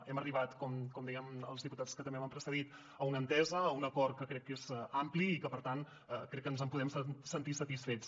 hem arribat com deien els diputats que també m’han precedit a una entesa a un acord que crec que és ampli i que per tant crec que ens en podem sentir satisfets